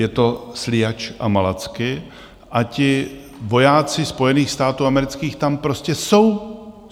Je to Sliač a Malacky a ti vojáci Spojených států amerických tam prostě jsou.